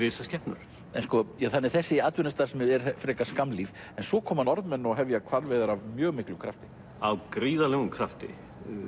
risaskepnur þannig að þessi atvinnustarfsemi er frekar skammlíf en svo koma Norðmenn og hefja hvalveiðar af mjög miklum krafti af gríðarlegum krafti